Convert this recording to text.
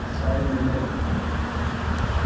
Sæmi minn.